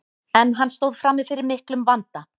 en hann stóð frammi fyrir miklum vanda